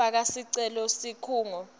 faka sicelo kusikhungo